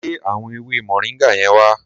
Gé àwọn ewé moringa yẹn wá.